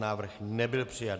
Návrh nebyl přijat.